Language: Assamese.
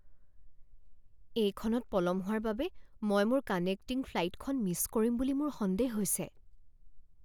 এইখনত পলম হোৱাৰ বাবে মই মোৰ কানেক্টিং ফ্লাইটখন মিছ কৰিম বুলি মোৰ সন্দেহ হৈছে।